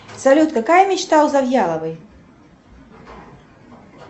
салют какая мечта у завьяловой